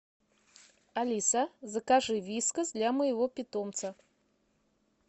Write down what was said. алиса закажи вискас для моего питомца